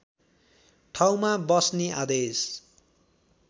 ठाउँमा बस्ने आदेश